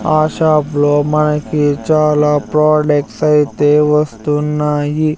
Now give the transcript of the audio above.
ఆ షాప్ లో మనకి చాలా ప్రాడక్ట్స్ ఐతే వస్తున్నాయి.